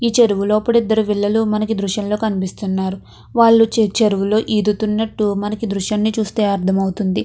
ఈ చెరువులో అప్పుడు ఇద్దరు పిల్లలు మనకి దృశ్యంలో కనిపిస్తున్నారు. వాళ్ళు చి చెరువులో ఈదుతున్నటు మనకి దృశ్యాన్ని చూస్తే అర్థం అవుతుంది.